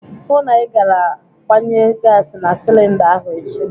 Hụụ na ị gara gbanye gasi na silinda ahụ echi!